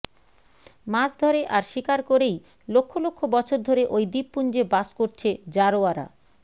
মাছ ধরে আর শিকার করেই লক্ষ লক্ষ বছর ধরে ওই দ্বীপপুঞ্জে বাস করছে জারোয়ারা